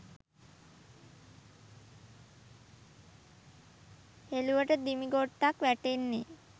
හෙලුවට දිමිගොට්ටක් වැටෙන්නෙ